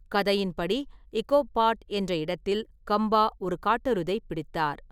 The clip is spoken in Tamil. கதையின்படி, இகோப் பாட் என்ற இடத்தில் கம்பா ஒரு காட்டெருதைப் பிடித்தார்.